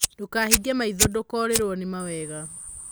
Ndũkahinge maitho ndũkorĩrwo nĩ mawega.